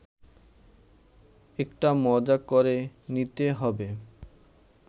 একটা মজা ক’রে নিতে হবে